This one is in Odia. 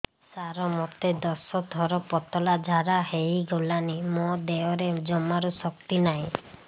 ସାର ମୋତେ ଦଶ ଥର ପତଳା ଝାଡା ହେଇଗଲାଣି ମୋ ଦେହରେ ଜମାରୁ ଶକ୍ତି ନାହିଁ